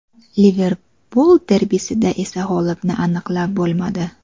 Liverpul derbisida esa g‘olibni aniqlab bo‘lmadi.